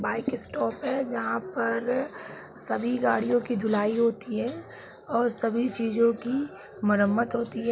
Bike stop है जहाँ पर सभी गाड़ियों की धुलाई होती है और सभी चीज़ो की मरम्मत होती है।